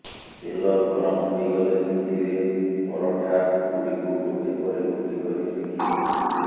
ତେଲ ଗରମ ହୋଇଗଲେ ସେଥିରେ ପରଠା ଗୁଡିକୁ ଗୋଟେ ପରେ ଗୋଟେ କରି ସେକି ଦିଅନ୍ତୁ